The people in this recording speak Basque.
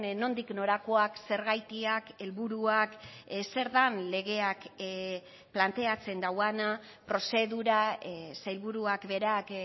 nondik norakoak zergatiak helburuak zer den legeak planteatzen duena prozedura sailburuak berak